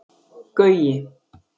Gaui